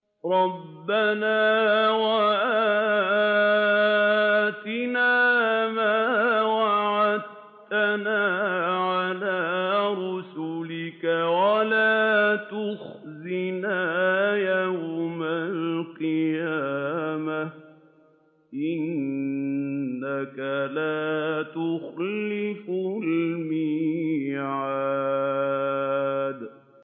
رَبَّنَا وَآتِنَا مَا وَعَدتَّنَا عَلَىٰ رُسُلِكَ وَلَا تُخْزِنَا يَوْمَ الْقِيَامَةِ ۗ إِنَّكَ لَا تُخْلِفُ الْمِيعَادَ